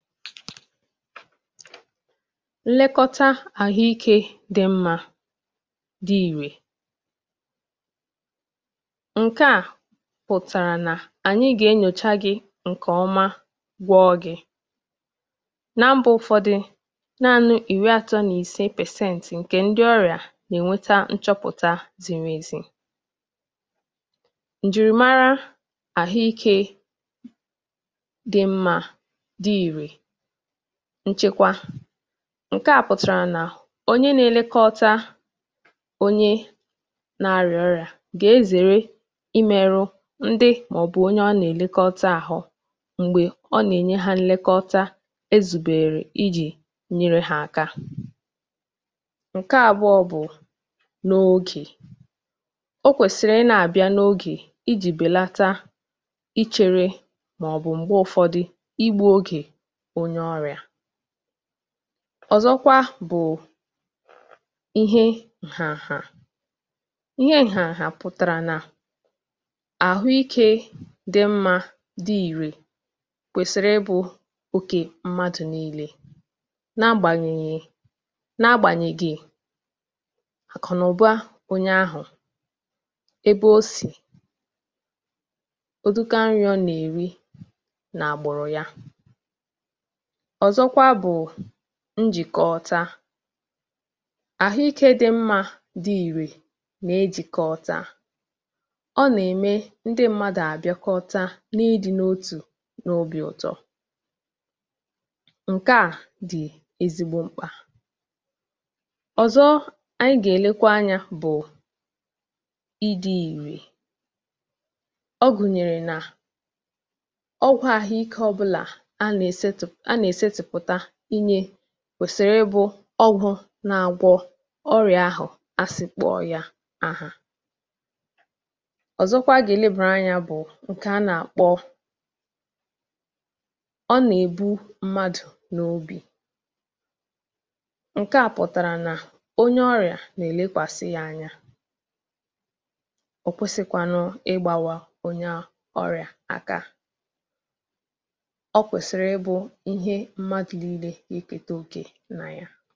Àhụ̀ ìké dị mma na dị ìrè pụ̀tàrà nà a nà-enyòcha ndị ọrịa nke ọma ma na-agwọ ha nke ọma. N’ụ́fọ̀dị̀ mba, naanị ihe dị ka pasent iri na ise nke ndị ọrịa ka na-enweta nchọ̀pụ̀tà eziokwu na nke a pụrụ ịtụkwasị obi um. Nlekọta àhụ̀ ìké dị mma pụ̀takwara nchedo maka onye nà-elekọta na onye nà-anata nlekọta. Onye nà-elekọta ekwesịghị imerụ onye ọrịa ahụ̀ ma ọ bụ mee ihe gà-emekarị ka ọnọdụ ya njọ mgbe ọ̀ nà-anwa inyere ya aka ị̀gọ̀rọ̀. Ị̀bịa n’oge bụkwa ihe dị oke mkpà um. Ndị dọkịta na ndị nà-enye nlekọta kwesịrị ịbịa n’oge iji belata oge ichere na mmechighị ọrụ. Ị̀rụ ọrụ nke ọma bụkwa akụkụ dị mkpa n’ọrụ nlekọta àhụ̀ ìké um. Nke a pụ̀tàrà nà àhụ̀ ìké kwesịrị inyere mmadụ niile aka, n’agbanyeghị ebe ha si maọ̀bụ̀ ego ha nwere. Nhàzị na ịrụkọ ọrụ ọnụ bụkwa ihe dị mkpa. Nlekọta àhụ̀ ìké dị mma na-eme ka ndị mmadụ na-arụkọ ọrụ ọnụ, na-eme ka obi dị ha n’ọ̀tù, ma na-eweta nghọta n’etiti ha. Ànyị kwesịkwara ilebara n’anya otú ọgwụgwọ si arụ ọrụ um. Ọgwụ ọ̀ bụla e nyere ekwesịrị ịdị mma n’ịgwọ ọrịa ahụ e nyèrè ya maka, ma ekwesịrị inye ya n’ụzọ̀ ziri ezi. N’ikpeazụ, ịhụnanya na obi ebere dị oke mkpà n’ọrụ nlekọta àhụ̀ ìké. Nke a pụ̀tàrà nà onye nà-elekọta ekwesịrị ịdị nwayọ̀, na-ele onye ọrịa anya nke ọma, ma ghara ịhapụ ya maọ̀bụ̀ leghara ya anya.